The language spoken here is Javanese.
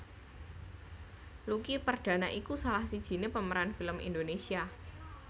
Lucky Perdana iku salah sijiné pemeran film Indonesia